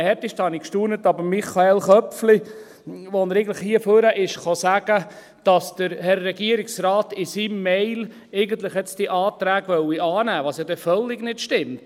Aber am härtesten habe ich gestaunt über Michael Köpfli, als er hier nach vorne kam und sagte, dass der Herr Regierungsrat in seiner E-Mail eigentlich jetzt diese Anträge annehmen wolle, was ja völlig nicht stimmt.